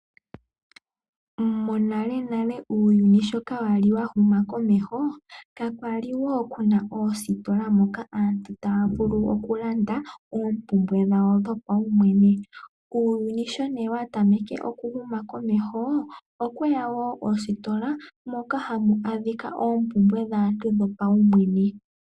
Monalenale uuyuni sho wali inaawu huma komeho kakwali kuna oositola moka aantu taya vulu okulanda oompumbwe dhawo dhopaumwene. Uuyuni sho nee wa tameke okuhuma komeho okweya woo oostola moka hamu adhika oompumbwe dhaantu dhopaumwene.